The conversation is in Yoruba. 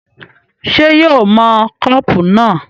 ṣé yóò ó mọ kọ́pù náà?